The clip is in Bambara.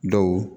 Dɔw